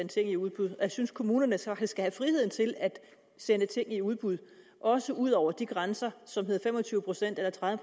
ting i udbud og jeg synes kommunerne så skal have friheden til at sende ting i udbud også ud over de grænser som hedder fem og tyve procent eller tredive